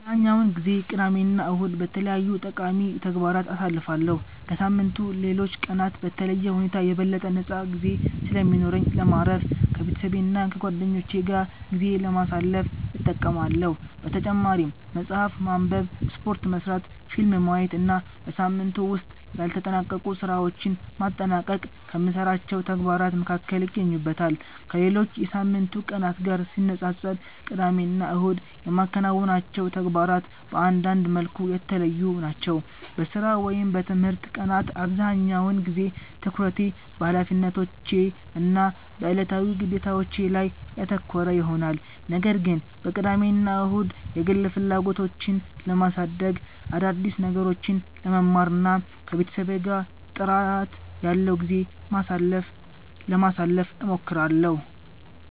አብዛኛውን ጊዜ ቅዳሜና እሁድን በተለያዩ ጠቃሚ ተግባራት አሳልፋለሁ። ከሳምንቱ ሌሎች ቀናት በተለየ ሁኔታ የበለጠ ነፃ ጊዜ ስለሚኖረኝ ለማረፍ፣ ከቤተሰቤና ከጓደኞቼ ጋር ጊዜ ለማሳለፍ እጠቀማለሁ። በተጨማሪም መጽሐፍ ማንበብ፣ ስፖርት መሥራት፣ ፊልም ማየት እና በሳምንቱ ውስጥ ያልተጠናቀቁ ሥራዎችን ማጠናቀቅ ከምሠራቸው ተግባራት መካከል ይገኙበታል። ከሌሎች የሳምንቱ ቀናት ጋር ሲነጻጸር ቅዳሜና እሁድ የማከናውናቸው ተግባራት በአንዳንድ መልኩ የተለዩ ናቸው። በሥራ ወይም በትምህርት ቀናት አብዛኛውን ጊዜ ትኩረቴ በኃላፊነቶቼ እና በዕለታዊ ግዴታዎቼ ላይ ያተኮረ ይሆናል። ነገር ግን በቅዳሜና እሁድ የግል ፍላጎቶቼን ለማሳደግ፣ አዳዲስ ነገሮችን ለመማር እና ከቤተሰቤ ጋር ጥራት ያለው ጊዜ ለማሳለፍ እሞክራለሁ።